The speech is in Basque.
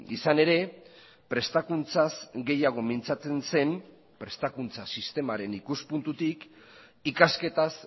izan ere prestakuntzaz gehiago mintzatzen zen prestakuntza sistemaren ikuspuntutik ikasketaz